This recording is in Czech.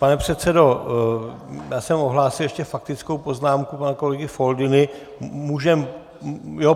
Pane předsedo, já jsem ohlásil ještě faktickou poznámku pana kolegy Foldyny.